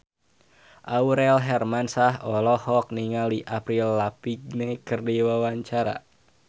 Aurel Hermansyah olohok ningali Avril Lavigne keur diwawancara